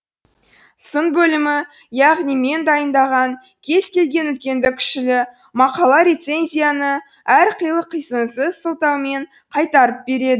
сын бөлімі яғни мен дайындаған кез келген үлкенді кішілі мақала рецензияны әрқилы қисынсыз сылтаумен қайтарып береді